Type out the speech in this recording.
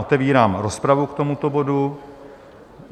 Otevírám rozpravu k tomuto bodu.